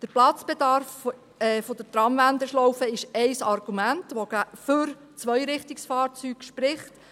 Der Platzbedarf der Tramwendeschlaufe ist ein Argument, das für Zweirichtungsfahrzeuge spricht.